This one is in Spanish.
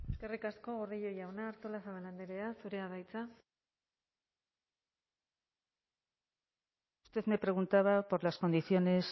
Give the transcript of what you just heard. eskerrik asko gordillo jauna artolazabal andrea zurea da hitza usted me preguntaba por las condiciones